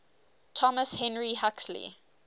thomas henry huxley